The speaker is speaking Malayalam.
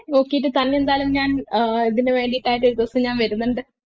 നോക്കീട്ട് തന്നെ എന്തായാലും ഞാൻ ഏർ ഇതിന് വേണ്ടീട്ട് ഒരൂസം ഞാൻ വരുന്നുണ്ട്